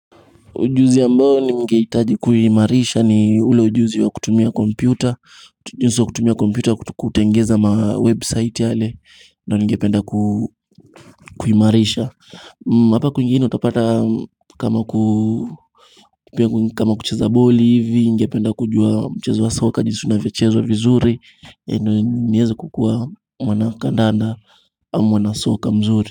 Ujuzi ambao ningehitaji kuimarisha ni ule ujuzi wa kutumia kompyuta. Ujuzi wa kutumia kompyuta kutengeneza mawebsite yale ndio ningependa kuimarisha hapa kwingine utapata kama kucheza boli hivi ningependa kujua mchezo wa soka jinsi unavyochezwa vizuri, ndio niweze kukua mwanakandanda ama mwanasoka mzuri.